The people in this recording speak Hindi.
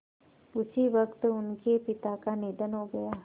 उसी वक़्त उनके पिता का निधन हो गया